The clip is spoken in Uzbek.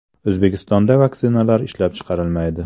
O‘zbekistonda vaksinalar ishlab chiqarilmaydi.